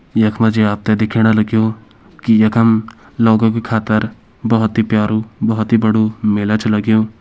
यख मा जी आप त दिखेण लग्युं की यकम लोगों की खातिर बहोत ही प्यारु बहोत ही बड़ु मेला छ लग्युं।